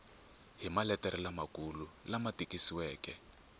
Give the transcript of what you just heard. hi maletere lamakulu lama tikisiweke